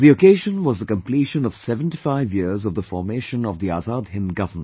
The occasion was the completion of 75 years of the formation of the Azad Hind Government